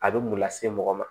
A bɛ mun lase mɔgɔ ma